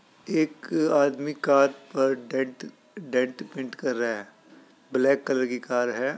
एक आदमी कार पर डेंट डेंट पेंट कर रहा है ब्लैक कलर की कार है।